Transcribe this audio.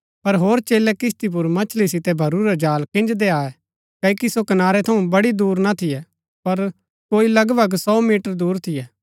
पर होर चेलै किस्ती पुर मछली सितै भरूरा जाल खिंजदै आये क्ओकि सो कनारै थऊँ बड़ी दुर ना थियै पर कोई लगभग सौ मीटर दूर थियै